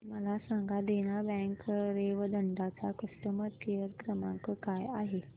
मला सांगा देना बँक रेवदंडा चा कस्टमर केअर क्रमांक काय आहे